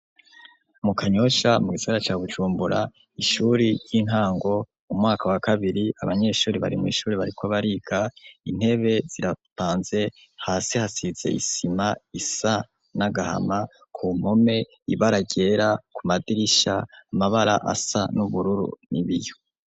Mu Kanyosha mu Gisagara ca Bujumbura , Ishure ry'intango umwaka wakabiri , abanyeshure barimwishure bariko bariga intebe zirapanze hasi hasize isima isa nagahama kumpome ibara ryera Kumadirisha amabara asa nubururu nibiyo.